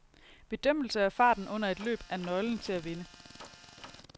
Bedømmelse af farten under et løb er nøglen til at vinde.